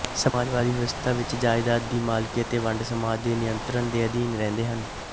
ਸਮਾਜਵਾਦੀ ਵਿਵਸਥਾ ਵਿੱਚ ਜਾਇਦਾਦ ਦੀ ਮਾਲਕੀ ਅਤੇ ਵੰਡ ਸਮਾਜ ਦੇ ਨਿਅੰਤਰਣ ਦੇ ਅਧੀਨ ਰਹਿੰਦੇ ਹਨ